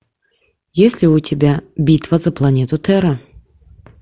есть ли у тебя битва за планету терра